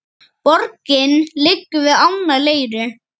Borgin liggur við ána Leiru.